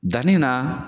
Danni na